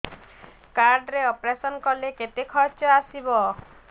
card ରେ operation କଲେ କେତେ ଖର୍ଚ ଆସିବ